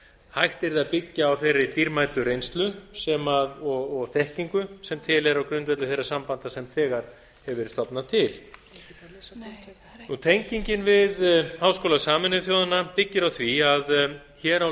hægt yrði að byggja á þeirri dýrmætu reynslu og þekkingu sem til er á grundvelli þeirra sambanda sem þegar hefur verið stofnað til tengingin við háskóla sameinuðu þjóðanna byggir á því að hér á